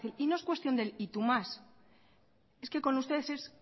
y no es cuestión del y tú más es que con ustedes es